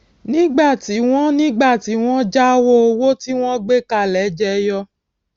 nígbà tí wón nígbà tí wón jáwó owó tí wọn gbé kalẹ jẹyọ